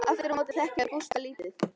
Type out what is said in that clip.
Aftur á móti þekkja þau Gústa lítið.